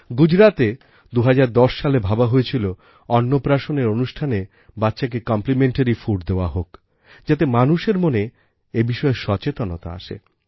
গুজরাতে ২০১০ সালে ভাবা হয়েছিল অন্নপ্রাশনের অনুষ্ঠানে বাচ্চাকে কমপ্লিমেন্টারি ফুড দেওয়া হোক যাতে মানুষের মনে এ বিষয়ে সচেতনতা আসে